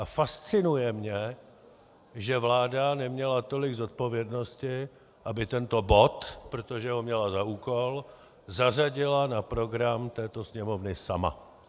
A fascinuje mě, že vláda neměla tolik zodpovědnosti, aby tento bod, protože ho měla za úkol, zařadila na program této Sněmovny sama.